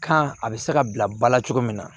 Kan a bɛ se ka bila ba la cogo min na